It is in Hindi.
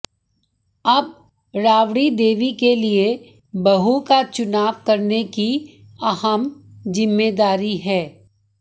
अब राबड़ी देवी के लिए बहु का चुनाव करने की अहम जिम्मेदारी है